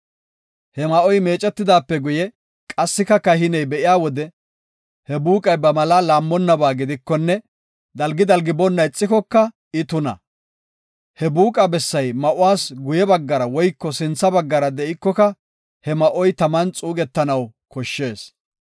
He ma7oy meecetidaape guye qassika kahiney be7iya wode he buuqay ba malaa laammonnabaa gidikonne dalgi dalgi boonna ixikoka I tuna. He buuqa bessay ma7uwas guye baggara woyko sintha baggara de7ikoka he ma7oy taman xuugetanaw koshshees.